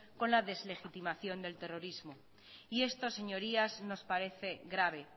con la deslegitimación del terrorismo y esto señorías nos parece grave